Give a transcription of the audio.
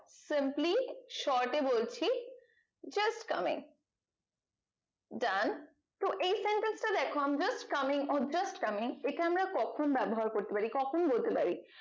sampli short এ বলছি just coming জান তো এই sentence টা দেখো i am just coming or just coming এটা আমরা কখন ব্যবহার করতে পারি কখন বলতে পারি